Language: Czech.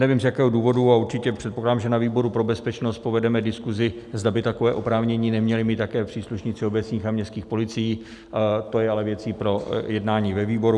Nevím, z jakého důvodu, a určitě předpokládám, že na výboru pro bezpečnost povedeme diskuzi, zda by takové oprávnění neměli mít také příslušníci obecních a městských policií, to je ale věcí pro jednání ve výboru.